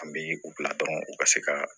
An bɛ u bila dɔrɔn u ka se ka